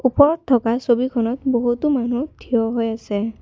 ওপৰত থকা ছবিখনত বহুতো মানুহ থিয় হৈ আছে।